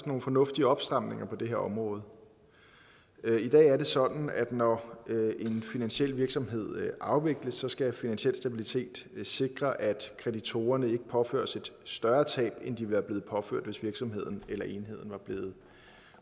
nogle fornuftige opstramninger på det her område i dag er det sådan at når en finansiel virksomhed afvikles skal finansiel stabilitet sikre at kreditorerne ikke påføres et større tab end de ville være blevet påført hvis virksomheden eller enheden var blevet